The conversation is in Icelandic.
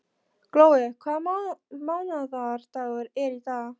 Glói, hvaða mánaðardagur er í dag?